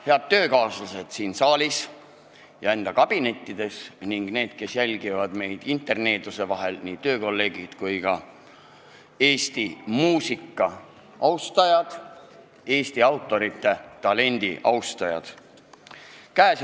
Head töökaaslased siin saalis ja kabinettides ning need, kes jälgivad meid interneeduse vahendusel, nii töökolleegid kui ka Eesti muusika ja Eesti autorite talendi austajad!